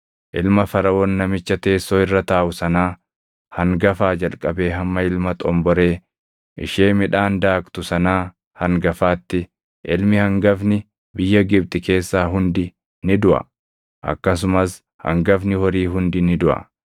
Ilma Faraʼoon namicha teessoo irra taaʼu sanaa hangafaa jalqabee hamma ilma xomboree ishee midhaan daaktu sanaa hangafaatti ilmi hangafni biyya Gibxi keessaa hundi ni duʼa; akkasumas hangafni horii hundi ni duʼa.